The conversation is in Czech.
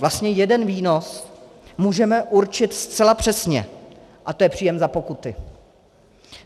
Vlastně jeden výnos můžeme určit zcela přesně a je to příjem za pokuty.